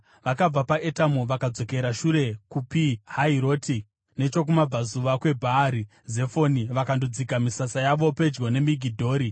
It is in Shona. Vakabva paEtamu, vakadzokera shure kuPi Hahiroti, nechokumabvazuva kweBhaari Zefoni, vakandodzika misasa yavo pedyo neMigidhori.